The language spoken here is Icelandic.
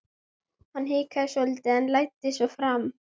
Hann hikaði svolítið en læddist svo fram.